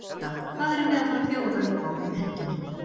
Hulda, hvað erum við að fara að bjóða upp á um helgina?